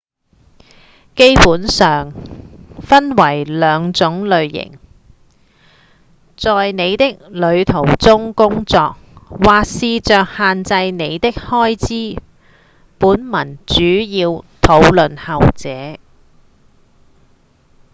基本上分為兩種類型：在您的旅途中工作或試著限制您的開支本文主要討論後者